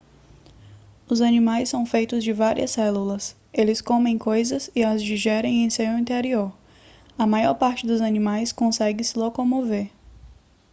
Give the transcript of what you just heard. os animais são feitos de várias células eles comem coisas e as digerem em seu interior a maior parte dos animais consegue se locomover